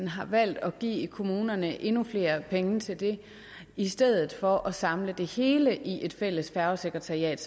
har valgt at give kommunerne endnu flere penge til det i stedet for at samle det hele i et fælles færgesekretariat